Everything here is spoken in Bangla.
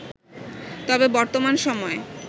তবে বর্তমান সময়ে